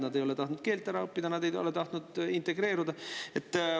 Nad ei ole tahtnud keelt ära õppida, nad ei ole tahtnud integreeruda.